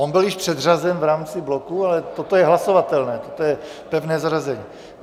On byl již předřazen v rámci bloku, ale toto je hlasovatelné, to je pevné zařazení.